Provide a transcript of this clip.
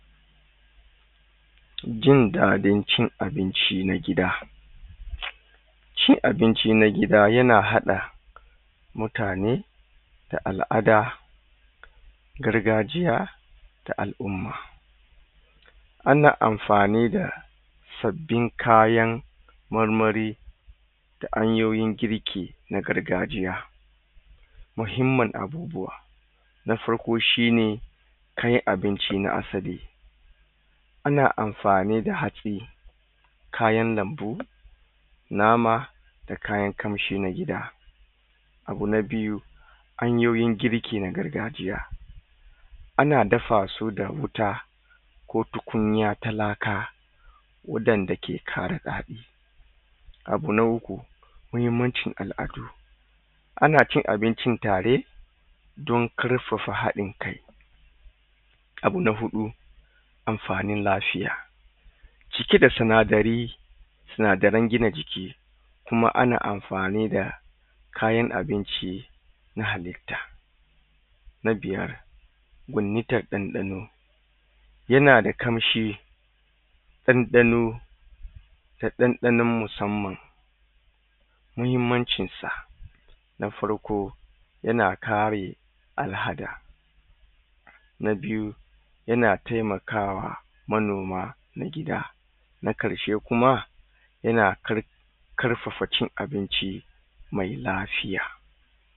Jin daɗin cin abinci na gida shi abinci na gida yana haɗa mutane da al'ada garga jiya ta al'umma ana amfada sabbin kayan marmari da hanyoyin kirki na gargajiya mahimmun abubuwa na farko shine kayan abinci na asali ana amfani da hatsi kayan lambu nama da kayan ƙamshi na gida abu na biyu hayoyin girki na garga jiya ana dafasu da wuta ko tukunya ta laka waɗada ke ƙara daɗi abu na uku mahimmancin al'adu anacin abincin tare don ƙarfafa haɗin kai abu na huɗu amfanin lafiya cike da sina dari sinadaran gina jiki kuma ana amfanida kayan abinci na halitta na biyar wanintan ɗan ɗano yanada ƙamshi ɗan ɗano ta ɗan ɗanon musamman mahimmancin sa na farko yana kare al'ada na biyu yana temakawa manoma nagida na ƙarshe kuma yana kar ƙarfafa cin abinci me lafiya